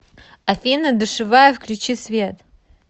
афина душевая включи свет